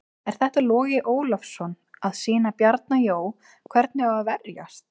Er þetta Logi Ólafsson að sýna Bjarna Jó hvernig á að verjast?